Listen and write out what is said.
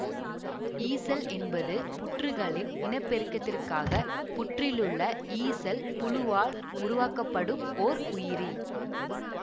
ஈசல் என்பது புற்றுகளின் இனபெருக்கத்திற்காக புற்றிலுள்ள ஈசல் புழுவால் உருவாக்கப்படும் ஓர் உயிரி